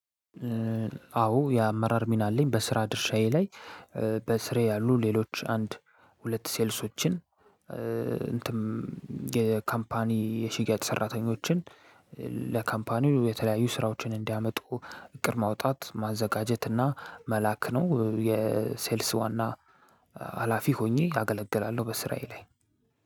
አዎ የአመራር ሚና አለኝ። በስራ ድርሻዬ ላይ በስሬ ያሉ ሌሎች አንድ ሁለት ሴልሶችን። እንትን የካምፓኒ የሽያጭ ሰራተኞችን። ለካምፓኒው የተለያዩ ስራዎችን እንዲያመጡ እቅድ ማውጣት ማዘጋጀት እና መላክ ነው። የሴልስ ዋና ሀላፊ ሆኜ አገለግላለሁ። በስራየ ላይ።